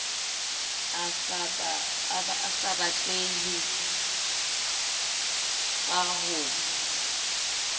a sa batleheng ka ho